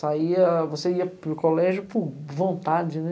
Saía... Você ia para o colégio por vontade, né?